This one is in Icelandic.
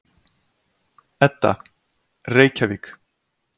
Edda: Reykjavík.